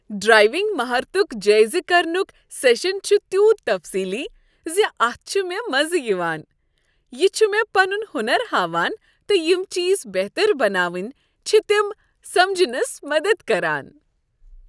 Driving مہارتک جٲیزٕ کرنک سیشن چھ تیُوت تفصیلی ز اتھ چھ مےٚ مزٕ یوان۔ یہ چھ مےٚ پنن ہنر ہاوان تہٕ یم چیز بہتر بناوٕنۍ چھ تم سمجنس منز مدد کران۔